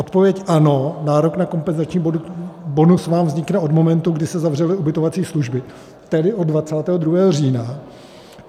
Odpověď: Ano, nárok na kompenzační bonus vám vznikne od momentu, kdy se zavřely ubytovací služby, tedy od 22. října.